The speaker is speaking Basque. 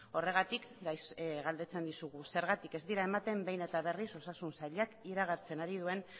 horregatik galdetzen dizugu zergatik ez dira ematen behin eta berriz osasun sailak iragartzen ari duen